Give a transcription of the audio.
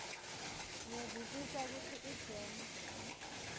ngiyevisisa kutsi igems